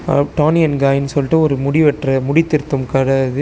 A Toni and காயினு சொல்ட்டு ஒரு முடி வெற்ற முடி திருத்தும் கட இது.